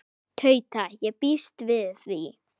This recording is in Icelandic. Tauta: Ég býst við því.